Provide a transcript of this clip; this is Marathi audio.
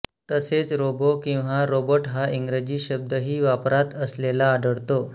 तसेच रोबो किंवा रोबोट हा इंग्रजी शब्दही वापरात असलेला आढळतो